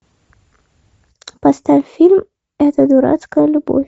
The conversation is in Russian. поставь фильм эта дурацкая любовь